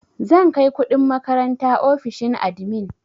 Zan kai kuɗin makaranta ofishin admin.